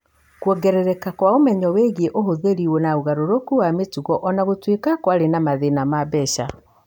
Kwongerereka kwa ũmenyo wĩgiĩ ũhũthĩri na ũgarũrũku wa mĩtugo O na gũtuĩka kwarĩ na mathĩna ma mbeca.